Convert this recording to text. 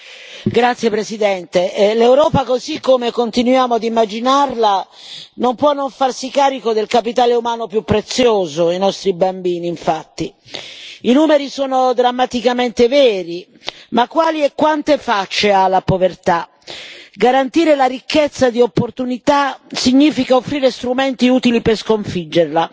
Signora Presidente, onorevoli colleghi, l'Europa, così come continuiamo ad immaginarla, non può non farsi carico del capitale umano più prezioso, i nostri bambini, infatti. I numeri sono drammaticamente veri. Ma quali e quante facce ha la povertà? Garantire la ricchezza di opportunità significa offrire strumenti utili per sconfiggerla.